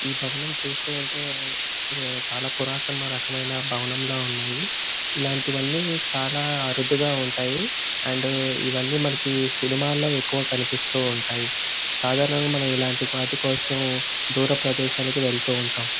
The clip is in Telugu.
ఈ భవనం చూస్తుంటే ఉహ్ చాల భవనం లా ఉన్నాయి. ఇలాంటివాన్ని చాల అరుదుగా ఉంటాయి. అండ్ ఇవ్వని మనకి సినిమాలూ ఎక్కువగా కనిపిస్తుంటాయి. సాధారనంగా మనం ఇల్లాంటివాటి కోసం దురా ప్రదేశాలకు వెళ్తూ ఉంటాం.